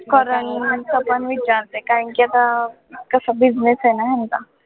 current चं पण विचारते कारण की आता कसं business आहे ना यांचा